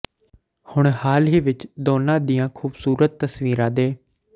ਹੁਣ ਹਾਲ ਹੀ ਵਿੱਚ ਦੋਨਾਂ ਦੀਆਂ ਖੂਬਸੂਰਤ ਤਸਵੀਰਾਂ ਦੇ